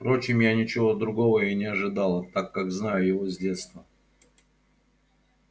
впрочем я ничего другого и не ожидала так как знаю его с детства